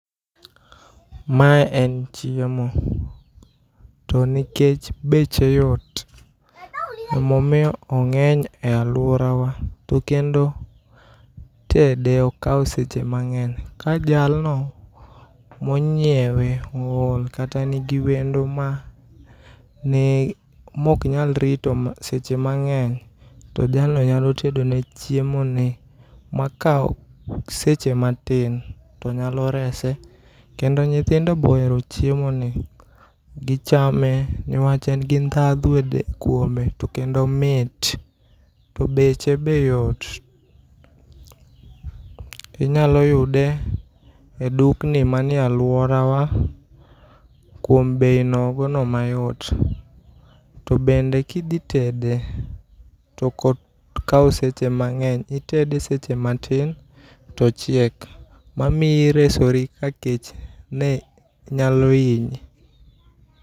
Mae en chiemo. To nikech beche yot, emomiyo ong'eny e aluorawa. To kendo tede ok kaw seche mang'eny. Ka jalno monyiewe o ol kata nigi wendo ma mok nyal rito seche mang'eny to jalno nyalo tedo ne chiemo ni makaw seche matin to nyalo rese. Kendo nyithindo be ohero chiemo ni gichame newach en gi dhadho kuome to kendo omit. To beche be yot. Inyalo yude e dukni manie aluorawa kuom bei no nogo no mayot. Tobende kidhi tede to ok okaw seche mang'eny. Itede seche matin to ochiek. Ma miyo iresori ka kech ne nyalo hinyi.